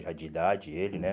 Já de idade, ele, né?